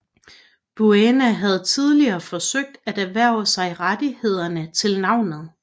Buena havde tidligere forsøgt at erhverve sig rettighederne til navnet